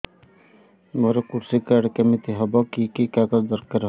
ମୋର କୃଷି କାର୍ଡ କିମିତି ହବ କି କି କାଗଜ ଦରକାର ହବ